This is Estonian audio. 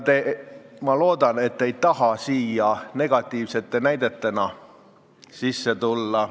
Ma loodan, et te ei taha seal negatiivsete näidetena sees olla.